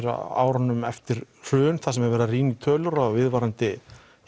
á árunum eftir hrun þar sem verið er að rýna í tölur og viðvarandi